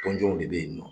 Tɔndenw de bɛ yen nɔ